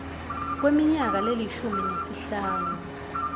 kweminyaka lelishumi nesihlanu